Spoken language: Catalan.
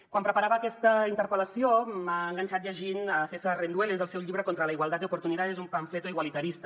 quan preparava aquesta interpel·lació m’ha enganxat llegint césar rendueles el seu llibre contra la igualdad de oportunidades un panfleto igualitarista